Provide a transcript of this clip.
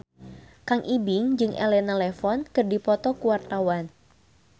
Kang Ibing jeung Elena Levon keur dipoto ku wartawan